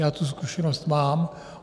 Já tu zkušenost mám.